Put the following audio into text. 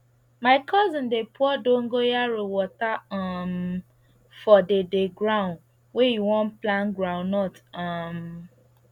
my cousin dey pour dongoyaro water um for the the ground wey e wan plant groundnut um